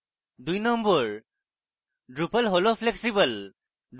২ number: drupal হল flexible